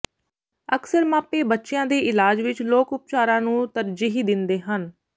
ਅਕਸਰ ਮਾਪੇ ਬੱਚਿਆਂ ਦੇ ਇਲਾਜ ਵਿਚ ਲੋਕ ਉਪਚਾਰਾਂ ਨੂੰ ਤਰਜੀਹ ਦਿੰਦੇ ਹਨ